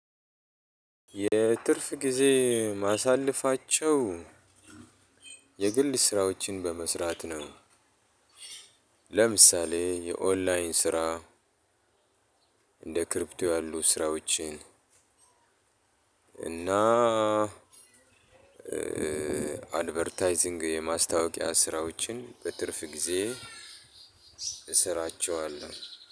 የትርፍ ጊዜ የማሳልፋቸው የግል ስራዎችን በመስራት ነው። ለምሳሌ የኦንላይን ስራ እንደ ክሪፕቶ ያሉ ስራዎችን እና አድቨርታይዚንግ የማስታወቂያ ስራዎችን በትርፍ ጊዜ። እሰራቸዋለሁ።